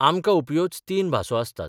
आमकां उपयोच तीन भासो आसतात.